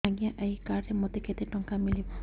ଆଜ୍ଞା ଏଇ କାର୍ଡ ରେ ମୋତେ କେତେ ଟଙ୍କା ମିଳିବ